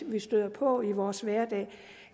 vi støder på i vores hverdag og